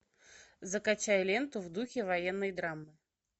закачай ленту в духе военной драмы